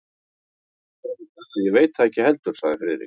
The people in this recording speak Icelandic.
Ég verð að játa, að ég veit það ekki heldur sagði Friðrik.